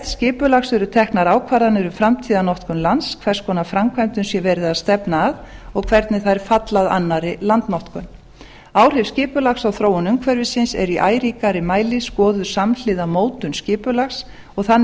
skipulags eru teknar ákvarðanir um framtíðarnotkun lands hvers konar framkvæmdum sé verið að stefna að og hvernig þær falla að annarri landnotkun áhrif skipulags á þróun umhverfisins er í æ ríkari mæli skoðuð samhliða mótun skipulags og þannig